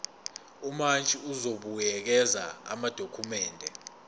umantshi uzobuyekeza amadokhumende